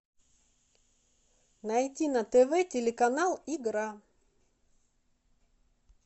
найти на тв телеканал игра